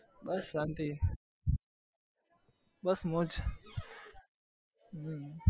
બસ શાંતિ બસ મોજ હમ